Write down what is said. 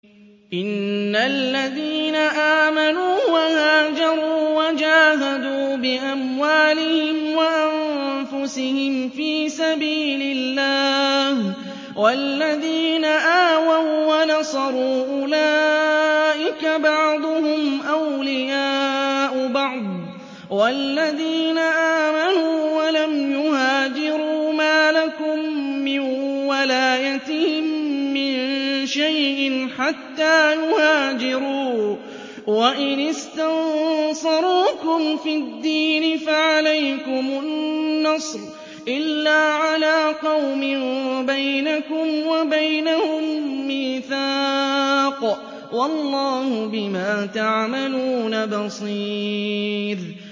إِنَّ الَّذِينَ آمَنُوا وَهَاجَرُوا وَجَاهَدُوا بِأَمْوَالِهِمْ وَأَنفُسِهِمْ فِي سَبِيلِ اللَّهِ وَالَّذِينَ آوَوا وَّنَصَرُوا أُولَٰئِكَ بَعْضُهُمْ أَوْلِيَاءُ بَعْضٍ ۚ وَالَّذِينَ آمَنُوا وَلَمْ يُهَاجِرُوا مَا لَكُم مِّن وَلَايَتِهِم مِّن شَيْءٍ حَتَّىٰ يُهَاجِرُوا ۚ وَإِنِ اسْتَنصَرُوكُمْ فِي الدِّينِ فَعَلَيْكُمُ النَّصْرُ إِلَّا عَلَىٰ قَوْمٍ بَيْنَكُمْ وَبَيْنَهُم مِّيثَاقٌ ۗ وَاللَّهُ بِمَا تَعْمَلُونَ بَصِيرٌ